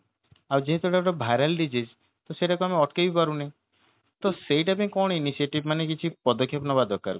ଆଉ ଯେହେତୁ ହେଇଟା ଗୋଟେ viral disease ତ ସେଇଟାକୁ ଆମେ ଅଟକେଇ ପାରୁନେ ତ ସେଇଟା ପାଇଁ କଣ initiative ମାନେ କିଛି ପଦକ୍ଷେପ ନେବା ଦରକାର